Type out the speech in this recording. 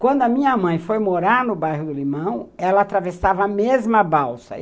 Quando a minha mãe foi morar no bairro do Limão, ela atravessava a mesma balsa.